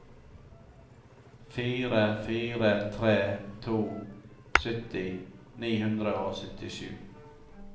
fire fire tre to sytti ni hundre og syttisju